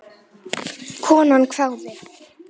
Konan hváði.